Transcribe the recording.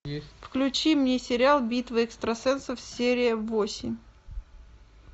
включи мне сериал битва экстрасенсов серия восемь